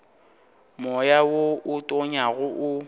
moya wo o tonyago o